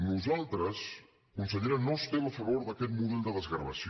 nosaltres consellera no estem a favor d’aquest model de desgravació